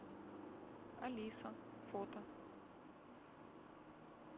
алиса фото